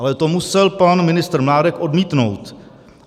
Ale to musel pan ministr Mládek odmítnout.